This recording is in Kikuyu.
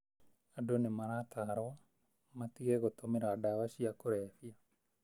Andũ nĩmaratarwo matige gũtũmĩra dawa cia kulebia.